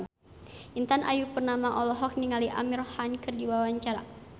Intan Ayu Purnama olohok ningali Amir Khan keur diwawancara